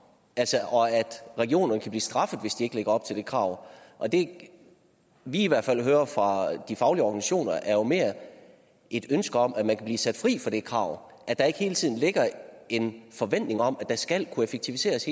og at regionerne kan blive straffet hvis de ikke lever op til det krav og det vi i hvert fald hører fra de faglige organisationer er jo mere et ønske om at man kan blive sat fri for det krav at der ikke hele tiden ligger en forventning om at skal kunne effektiviseres